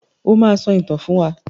O máa sọ ìtàn fún wa.